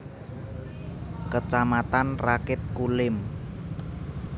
Kecamatan Rakit Kulim